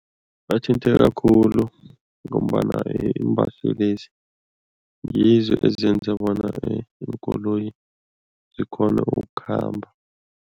Bathinteka khulu ngombana iimbaselezi ngizo ezenza bona iinkoloyi zikghone ukukhamba.